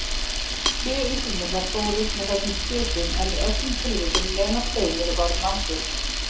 Sjö Íslendingar fórust með þessum skipum en í öllum tilvikum nema tveimur varð mannbjörg.